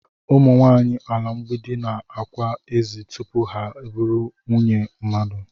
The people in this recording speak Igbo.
Ụ̣mụ̣ nwanyị ala mgbidi na-ákwà ezi tupu ha bụrụ nwunye mmadụ